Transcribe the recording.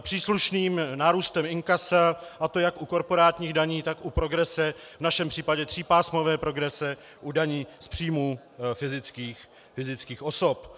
příslušným nárůstem inkasa, a to jak u korporátních daní, tak u progrese, v našem případě třípásmové progrese, u daní z příjmů fyzických osob.